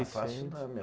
fácil não, meu.